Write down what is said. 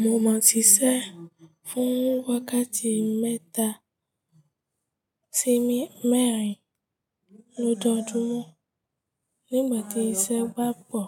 Mo ma ti ṣẹ́ fún wákàtí mẹ́ta sí mẹ́rin lọ́jojumo Nígbà tí iṣẹ́ bà pọ̀,